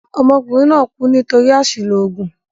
Ọmọkùnrin kú nítorí àṣìlò òògùn.